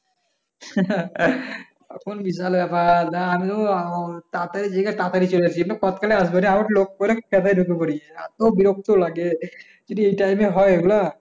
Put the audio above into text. তখন বিশাল ব্যাপার আমিও চতাড়াতড়িলে আসি ঢুকে পড়ি এতো বিরক্ত লাগে যদি এই time এ হয় এগুলা।